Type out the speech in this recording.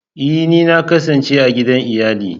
Ee! Na kasance a gidan iyali